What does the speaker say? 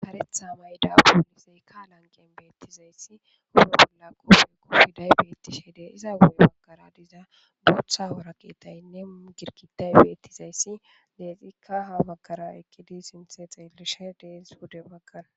haretha mayda uulisey ka lanqen beettizayssi huro bolla koofe kofiday beettishe de iza wurey bakara diza dotha hoora keetaynne girkitay beettizayssi deexikka hafakara ikkidi sinthe xeellishe deens wude bakara